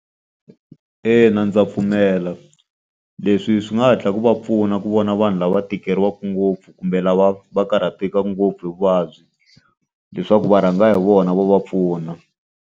Ina ndza pfumela. Leswi swi nga hatla ku va pfuna ku vona vanhu lava va tikeriwaka ngopfu kumbe lava va karhateka ngopfu hi vuvabyi, leswaku va rhanga hi vona va va pfuna.